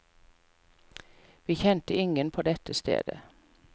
Vi kjente ingen på dette stedet.